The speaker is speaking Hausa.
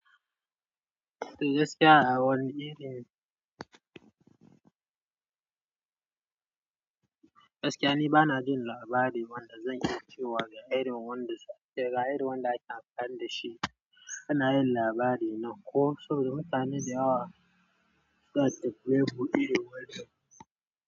Gaskiya a wani iri. Gaskiya ni bana jin labari wanda zan iya cewa ga irin wanda suke kira, ga irin wanda ake amfani da shi ana yin labari nan ko saboda mutane da yawa sace buhu irin wanda.